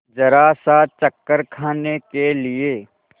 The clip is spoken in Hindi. जरासा चक्कर खाने के लिए